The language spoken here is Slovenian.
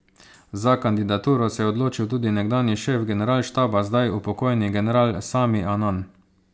Za kandidaturo se je odločil tudi nekdanji šef generalštaba, zdaj upokojeni general Sami Anan.